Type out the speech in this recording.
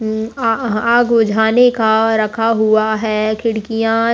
हम्म आ-आग बुझाने का रखा हुआ है। खिड़कियाँ --